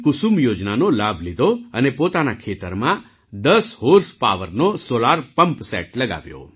કુસુમ યોજનાનો લાભ લીધો અને પોતાના ખેતરમાં દસ હૉર્સપાવરનો સૉલાર પમ્પ સેટ લગાવ્યો